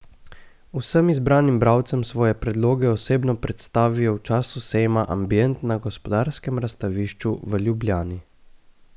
Vsem izbranim bralcem svoje predloge osebno predstavijo v času sejma Ambient na Gospodarskem razstavišču v Ljubljani.